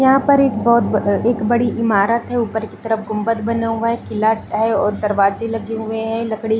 यहाँ पर एक बोहोत एक बड़ी इमारत है उपर की तरफ गुंब्बत बना हुआ है किला है और दरवाजे लगे हुए है लकड़ी --